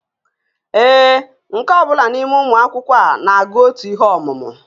Ee, nke ọ bụla n'ime ụmụ akwụkwọ a na-agụ otu ihe ọmụmụ